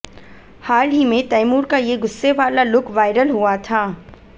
हाल ही में तैमूर का ये गुस्से वाला लुक वायरल हुआ था